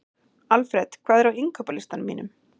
Alfred, hvað er á innkaupalistanum mínum?